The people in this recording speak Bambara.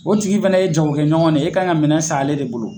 O tigi fana ye jago kɛ ɲɔgɔn de ye, e ka kan ka minɛn san ale de bolo..